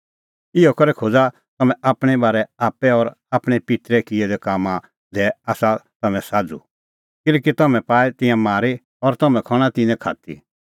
इहअ करै खोज़ा तम्हैं आपणैं बारै आप्पै और आपणैं पित्तरै किऐ दै कामां दी आसा तम्हैं साझ़ू किल्हैकि तिन्नैं ता पाऐ तिंयां मारी और तम्हैं खण्हां तिन्नें खात्ती